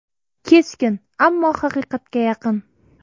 Keskin, ammo haqiqatga yaqin.